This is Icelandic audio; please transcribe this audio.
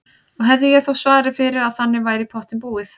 Og hefði ég þó svarið fyrir að þannig væri í pottinn búið.